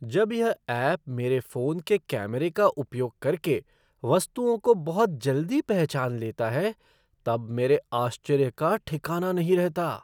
जब यह ऐप मेरे फ़ोन के कैमरे का उपयोग करके वस्तुओं को बहुत जल्दी पहचान लेता है तब मेरी आश्चर्य का ठिकाना नहीं रहता।